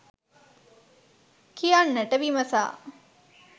කියන්නට විමසා